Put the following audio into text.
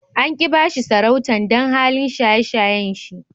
An ki ba shi sarautan dan halin shaye-shayen shi.